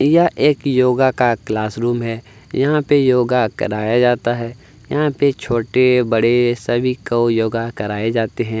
यह एक योगा का क्लास रूम है यहाँ पे योगा कराया जाता है यहाँ पे छोटे-बड़े सभी को योगा कराए जाते हैं।